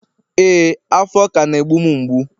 ee, afo ka na e mgbu'm mgbu.